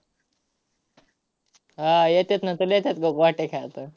हा, येतात ना. तुला येतात का गोट्या खेळता?